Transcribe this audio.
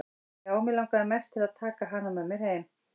Já, mig langaði mest til að taka hana með mér heim.